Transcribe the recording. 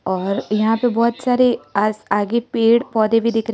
और यहां पे बहुत सारे आस आगे पेड़ पौधे भी दिख--